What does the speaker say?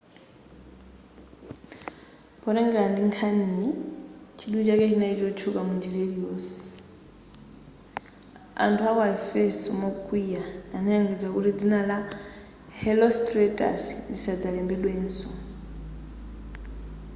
potengera ndi nkhaniyi chidwi chake chinali kutchuka munjira iliyonseyo.anthu aku aefeso mokwiya analengeza kuti dzina la herostratus lisadzalembedwenso